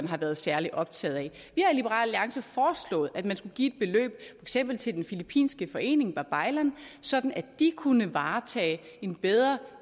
har været særlig optaget i liberal alliance foreslået at man skulle give et beløb eksempel til den filippinske forening babaylan sådan at de kunne varetage en bedre